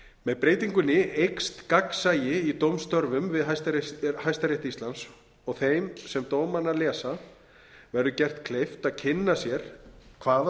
með breytingunni eykst gagnsæi í dómstörfum við hæstarétt íslands og þeim sem dómana lesa verði gert kleift að kynna sér hvaða